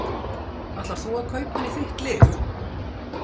Ætlar þú að kaupa hann í þitt lið?